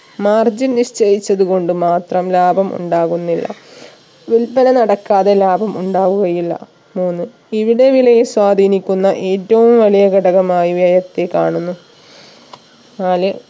Margine നിശ്ചയിച്ചത് കൊണ്ട് മാത്രം ലാഭം ഉണ്ടാകുന്നില്ല വിൽപന നടക്കാതെ ലാഭം ഉണ്ടാവുകയില്ല മൂന്ന് വിവിധ വിലയെ സ്വാധീനിക്കുന്ന ഏറ്റവും വലിയ ഘടകമായി വ്യയത്തെ കാണുന്നു നാല്